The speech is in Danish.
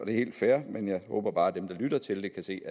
er helt fair men jeg håber bare at dem der lytter til det kan se